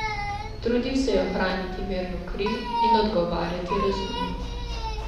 Trudil se je ohraniti mirno kri in odgovarjati razumno.